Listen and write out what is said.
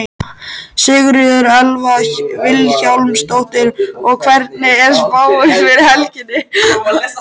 Sigríður Elva Vilhjálmsdóttir: Og hvernig er spáin fyrir helgina?